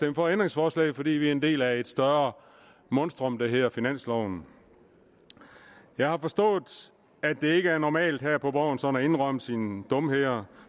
ændringsforslaget fordi vi er en del af et større monstrum der hedder finansloven jeg har forstået at det ikke er normalt her på borgen sådan at indrømme sine dumheder